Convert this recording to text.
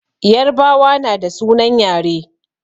Yarbawa na da sunan yare